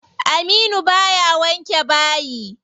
Aminu baya wanke bayi.